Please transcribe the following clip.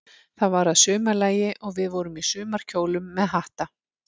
Þetta var að sumarlagi, og við vorum í sumarkjólum með hatta.